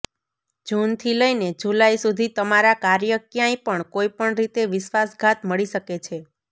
જૂનથી લઈને જુલાઈ સુધી તમારા કાર્ય ક્યાંય પણ કોઇપણ રીતે વિશ્વાસઘાત મળી શકે છે